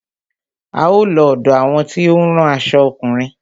A ó lọ ọ̀dọ àwọn tí ó ń rán aṣo ọkùnrin.